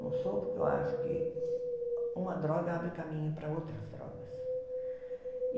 Não sou porque eu acho que uma droga abre caminho para outras drogas.